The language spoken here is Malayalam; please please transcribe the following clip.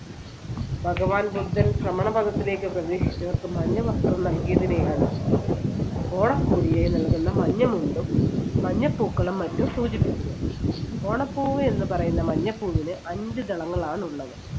ഭഗവാൻ ബുദ്ധൻ ശ്രമണ പദത്തിലേക്ക് പ്രവേശിച്ചവർക്ക് മഞ്ഞ വസ്ത്രം നൽകിയതിനെയാണ് ഓണക്കോടിയായി നൽകുന്ന മഞ്ഞ മുണ്ടും മഞ്ഞ പൂക്കളും മറ്റും സൂചിപ്പിക്കുന്നത്. ഓണപ്പൂവ് എന്ന് പറയുന്ന മഞ്ഞപ്പൂവിന് അഞ്ച് ദളങ്ങളാണ് ഉള്ളത്.